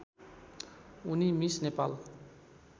उनी मिस नेपाल